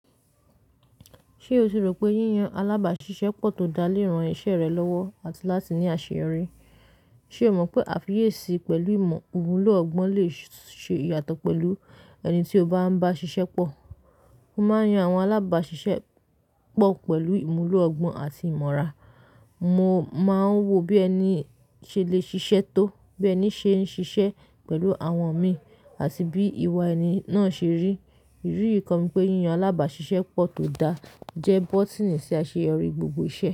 Ṣé o rò pé yíyan alábàáṣiṣẹ́pọ̀ tó dá léèrán iṣẹ́ rẹ lọ́wọ́ àti láti ní àṣeyọrí? Sé o mọ̀ pé àfiyèsí pẹ̀lú ìmọ̀ ìwúlò ọgbọ́n lè ṣe ìyàtọ̀ pẹ̀lú ẹni tí o bá ń bá ṣiṣẹ́pọ̀? Mo máa ń yan àwọn alábàáṣiṣẹ́pọ̀ pẹ̀lú ìmúlò ọgbọ́n àti ìmọ̀ra. Mo máa ń wo bí ẹni ṣe lè ṣiṣẹ́ tó, bí ẹni ṣe ń ṣiṣẹ́ pẹ̀lú àwọn mi, àti bí ìwà ẹni náà ṣe rí. Irú yìí kọ mi pé yíyan alábàáṣiṣẹ́pọ̀ tó dá jẹ́ bọ́tínì sí àṣeyọrí gbogbo iṣẹ́.